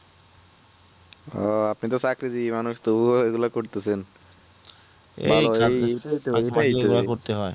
ও আপনি তো চাকরি জিবি মানুষ তবুও এইগুলা করতেছেন